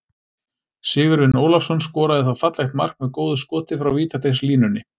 Sigurvin Ólafsson skoraði þá fallegt mark með góðu skoti frá vítateigslínunni.